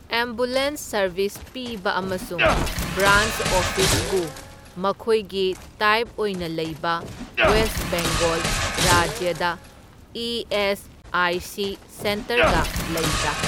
Ambulance service ꯄꯤꯕ ꯑꯃꯁꯨꯡ branch office ꯕꯨ ꯃꯈꯣꯏꯒꯤ ꯇꯥꯏꯞ ꯑꯣꯏꯅ ꯂꯩꯕ ꯋꯦꯁꯠ ꯕꯦꯡꯒꯣꯜ ꯔꯥꯖꯌꯗ ꯏ.ꯑꯦꯁ.ꯑꯥꯏ.ꯁꯤ. ꯁꯦꯟꯇꯔꯒ ꯂꯩꯕ꯭ꯔꯥ꯫